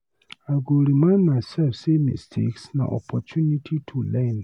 I go remind myself say mistakes na opportunities to learn.